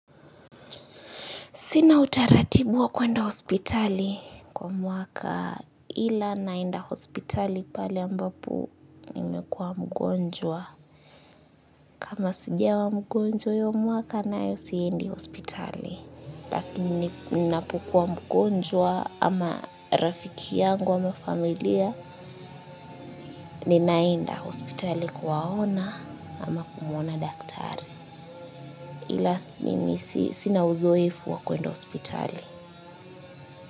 Sina utaratibu wa kwenda hospitali kwa mwaka ila naenda hospitali pale ambapo nimekuwa mgonjwa. Kama sijawa mgonjwa huu mwaka naye siendi hospitali. Lakini ninapokuwa mgonjwa ama rafiki yangu ama familia ninaenda hospitali kuwaona ama kumwona daktari. Ilas mimi sina uzoefu wa kwenda hospitali.